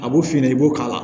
A b'o f'i ɲɛna i b'o k'a la